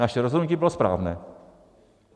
Naše rozhodnutí bylo správné.